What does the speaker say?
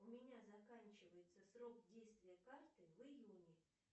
у меня заканчивается срок действия карты в июне